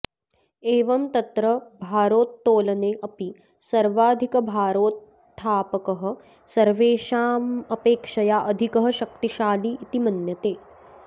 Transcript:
एवं तत्र भारोत्तोलने अपि सर्वाधिकभारोत्थापकः सर्वेषामपेक्षया अधिकः शक्तिशाली इति मन्यते